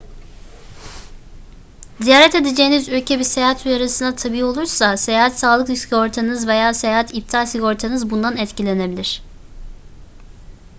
ziyaret edeceğiniz ülke bir seyahat uyarısına tabi olursa seyahat sağlık sigortanız veya seyahat iptal sigortanız bundan etkilenebilir